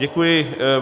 Děkuji.